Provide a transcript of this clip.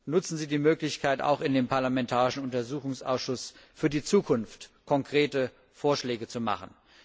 Nutzen Sie die Möglichkeit, auch in dem parlamentarischen Untersuchungsausschuss für die Zukunft konkrete Vorschläge zu machen.